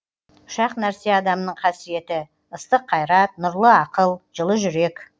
үш ақ нәрсе адамның қасиеті ыстық қайрат нұрлы ақыл жылы жүрек